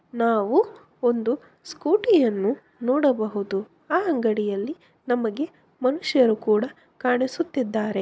ನಾವು ಒಂದು ಸ್ಕೂಟಿಯನ್ನು ನೋಡಬಹುದು. ಆ ಅಂಗಡಿಯಲ್ಲಿ ನಮಗೆ ಮನುಷ್ಯರು ಕೂಡ ಕಾಣಿಸುತ್ತಿದ್ದಾರೆ.